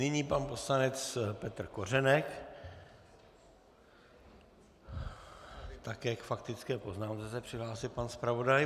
Nyní pan poslanec Petr Kořenek, také k faktické poznámce se přihlásil pan zpravodaj.